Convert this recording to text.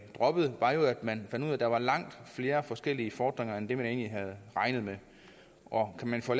droppet var jo at man fandt ud af at der var langt flere forskellige fordringer end man egentlig havde regnet med og kan man få